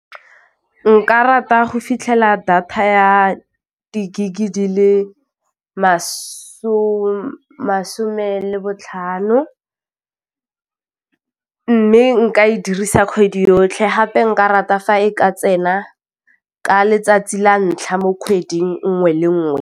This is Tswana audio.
Nka rata go fitlhela data ya di-gig di le masome le botlhano, mme nka e dirisa kgwedi yotlhe gape nka rata fa e ka tsena ka letsatsi la ntlha mo kgwedi nngwe le nngwe.